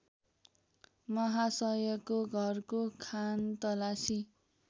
माहासयको घरको खानतलासी